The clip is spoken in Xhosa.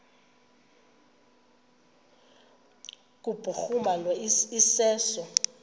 kubhuruma lo iseso